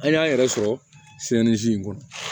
An y'an yɛrɛ sɔrɔ in kɔnɔ